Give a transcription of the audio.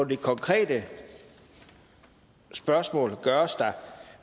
det konkrete spørgsmål gøres